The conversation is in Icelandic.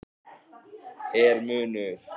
Er munur?